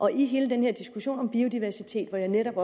hele den diskussion om biodiversitet var jeg netop